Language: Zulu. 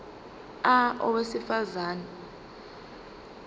a owesifaz ane